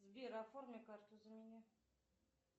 сбер оформи карту за меня